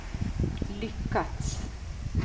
lyckats